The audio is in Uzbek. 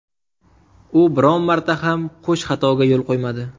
U biron marta ham qo‘sh xatoga yo‘l qo‘ymadi.